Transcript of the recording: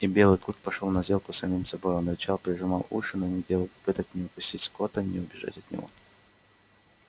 и белый клык пошёл на сделку с самим собой он рычал прижимал уши но не делал попыток ни укусить скотта ни убежать от него